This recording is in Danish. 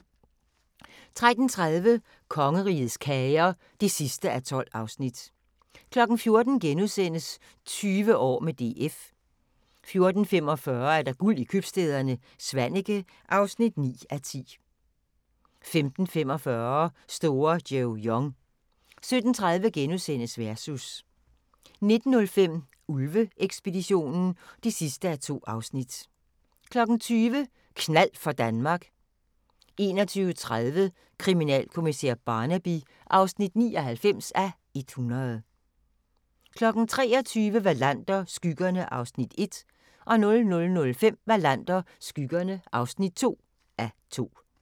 13:30: Kongerigets kager (12:12) 14:00: 20 år med DF * 14:45: Guld i købstæderne - Svaneke (9:10) 15:45: Store Joe Young 17:30: Versus * 19:05: Ulve-ekspeditionen (2:2) 20:00: Knald for Danmark 21:30: Kriminalkommissær Barnaby (99:100) 23:00: Wallander: Skyggerne (1:2) 00:05: Wallander: Skyggerne (2:2)